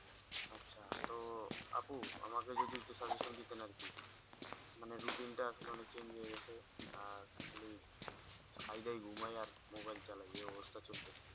আচ্ছা তো আপু আমাকে যদি একটু suggestion দিতেন আর কি মানে rutting টা আসলে অনেক change হয়ে গেছে আর খালি খাই দাই ঘুমাই আর mobile চালাই। এই অবস্থা চলছে